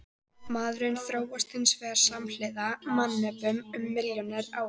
Maðurinn þróaðist hins vegar samhliða mannöpum um milljónir ára.